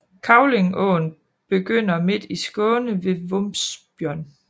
Kävlingeån begynder midt i Skåne ved Vombsjön